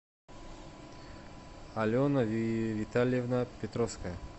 алена витальевна петровская